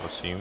Prosím.